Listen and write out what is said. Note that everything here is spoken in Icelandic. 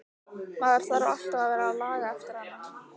Maður þarf alltaf að vera að laga eftir hana.